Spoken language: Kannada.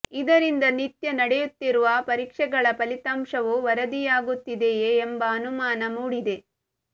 ಇದರಿಂದ ನಿತ್ಯ ನಡೆಯುತ್ತಿರುವ ಪರೀಕ್ಷೆಗಳ ಫಲಿತಾಂಶವು ವರದಿಯಾಗುತ್ತಿದೆಯೇ ಎಂಬ ಅನುಮಾನ ಮೂಡಿದೆ